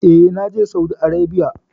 E, na je Saudi Arebiya.